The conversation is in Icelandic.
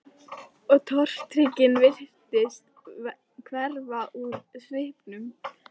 Og tortryggnin virtist hverfa úr svipnum.